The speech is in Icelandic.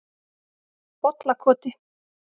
Bollakoti